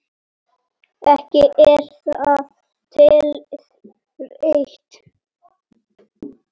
Ekki er það talið rétt.